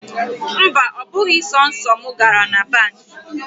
Mba, ọ bụghị sọsọ mụ gara na banki.